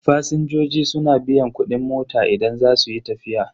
Fasinjoji suna biyan kudin mota idan za su yi tafiya.